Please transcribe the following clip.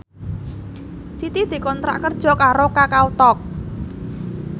Siti dikontrak kerja karo Kakao Talk